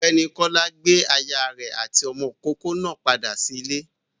Ọ̀gbẹ́ni Kọ́lá gbé aya rẹ̀ àti ọmọ ìkókó náà padà sí ilé.